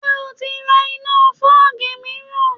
Ṣé o ti ra iná fọ́ọ̀gì míìràn?